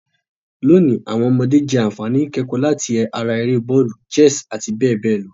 Lonìí, àwon ọmọdé je ànfàní ìkẹ̀kò láti ara eré bọ́òlù, chess àti béè néè lo